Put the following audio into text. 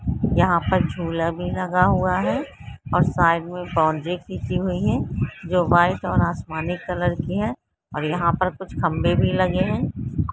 यहाँ पर झूला भी लगा हुआ है और साइड में बाउंड्री भी की हुई है जो वाइट और आसमानी कलर की है और यहाँ पर कुछ खम्बे भी लगे है।